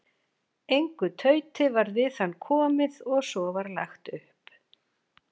Engu tauti varð við hann komið og svo var lagt upp.